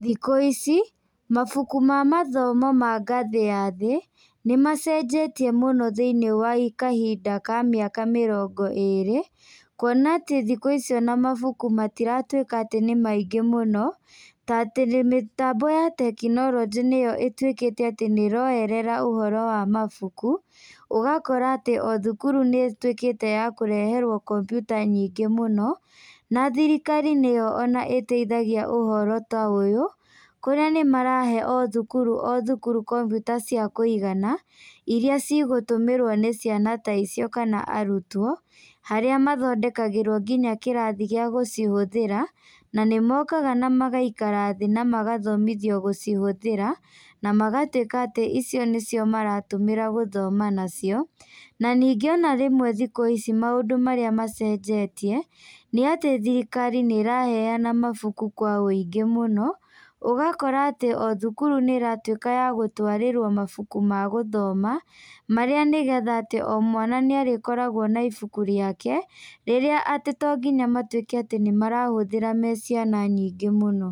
Thikũ ici, mabuku ma mathomo ma ngathĩ ya thĩ, nĩmacenjetie mũno thĩinĩ wa kahinda ka mĩaka mĩrongo ĩrĩ, kuona atĩ thĩkũ ici ona mabuku matiratuĩka atĩ nĩmaingĩ mũno, ta atĩ mĩtambo ya tekinorojĩ nĩyo ĩtuĩkĩte atĩ nĩroerera ũhoro wa mabuku, ũgakora atĩ o thukuru nĩtuĩkĩte ya kũreherwo kombyuta nyingĩ mũno, na thirikari nĩyo ona ĩteithagia ũhoro ta ũyũ, kũrĩa nĩmarahe o thuuru o thukuru kombyuta cia kũigana, iria cigũtũmĩrwo nĩ ciana ta icio kana arutwo, harĩa mathondekagĩrwo nginya kĩrathi gĩa gũcihũthĩra, na nĩmokaga namagaikara thĩ namagathomithio gũcihũthĩra, namagatuĩka atĩ icio nĩcio maratũmĩra gũthoma nacio, na ningĩ ona rĩmwe thikũ ici maũndũ marĩa macenjetie, nĩatĩ thirikari nĩraheana mabuku kwa wĩingĩ mũno, ũgakora atĩ o thukuru nĩratuĩka ya gũtwarĩrwo mabuku ma gũthoma, marĩa nĩgetha atĩ o mwana nĩarĩkoragwo na ibuku rĩake, rĩrĩa atĩ to nginya matuĩke atĩ nĩmarahũthĩra me ciana nyingĩ mũno.